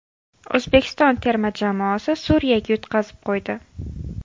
O‘zbekiston terma jamoasi Suriyaga yutqazib qo‘ydi.